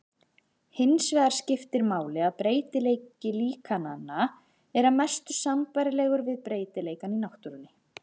Hinsvegar skiptir máli að breytileiki líkananna er að mestu sambærilegur við breytileikann í náttúrunni.